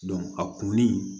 a kunni